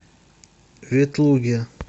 ветлуге